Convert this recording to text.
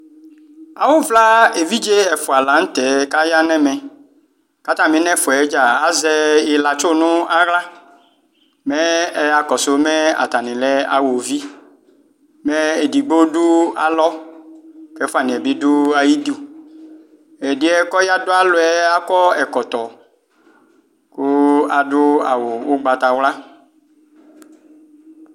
Awʋvla evidze ɛfʋ la nʋ tɛ kʋ ayanʋ ɛmɛ kʋ atami nʋ ɛfʋɛ dza azɛ ilatsu nʋ aɣla mɛ ɛyakɔnsʋ mɛ atanilɛ awɔvi mɛ edigbo dʋ alɔ kʋ ɛfʋni yɛ bidʋ ayʋ idʋ ɛdiɛ kʋ ɔdʋ alɔ yɛ akɔ ɛkɔtɔ kʋ aʋ awʋ ʋgbatawla